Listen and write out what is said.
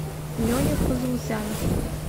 леня фазулзянов